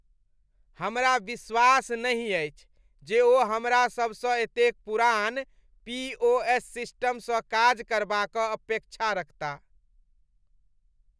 हमरा विश्वास नहि अछि जे ओ हमरा सब सँ एतेक पुरान पी. ओ. एस. सिस्टमसँ काज करबा क अपेक्षा रखता